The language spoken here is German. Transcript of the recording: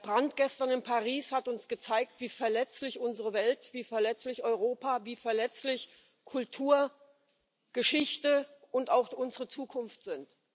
Der Brand gestern in Paris hat uns gezeigt, wie verletzlich unsere Welt, wie verletzlich Europa, wie verletzlich Kultur, Geschichte und auch unsere Zukunft sind.